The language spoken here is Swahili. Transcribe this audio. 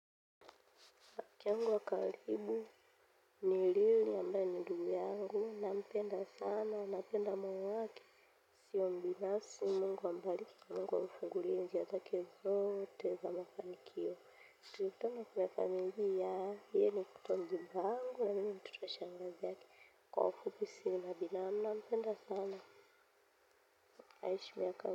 Rafiki yangu wa karibu, ni ambaye ni ndugu yangu, nampenda sana, nampenda moyo wake, sio mbinafsi Mungu ambariki, Mungu amfungulie njia yake zote za mafanikio. Yeye ni mtoto wa shangazi yangu, kwa ufupi si nampenda sana aishi miaka.